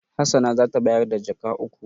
Hassana za ta bayar da jaka uku.